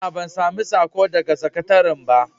A a, ban sami saƙo daga sakataran ba.